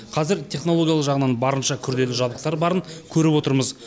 қазір технологиялық жағынан барынша күрделі жабдықтар барын көріп отырмыз